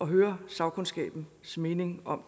høre sagkundskabens mening om